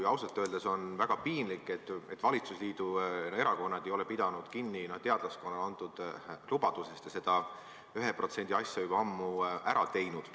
Ja ausalt öeldes on väga piinlik, et valitsusliidu erakonnad ei ole pidanud kinni teadlaskonnale antud lubadusest ja seda 1% asja juba ammu ära teinud.